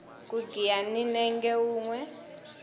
ku giya hi nenge wunwe